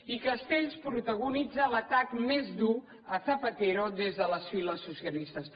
i castells protagonitza l’atac més dur a zapatero des de les files socialistes